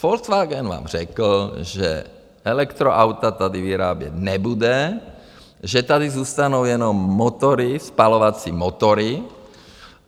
Volkswagen vám řekl, že elektroauta tady vyrábět nebude, že tady zůstanou jenom motory, spalovací motory.